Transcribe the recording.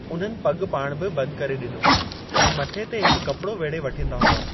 उन्हनि पॻ पाइणु बि बंद करे डि॒नो ऐं मथे ते हिकु कपड़ो वेढ़े वठिन्दा हुआ।